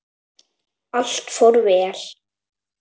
Allt fór vel.